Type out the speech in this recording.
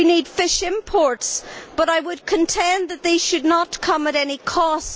We need fish imports, but I would contend that these should not come at any cost.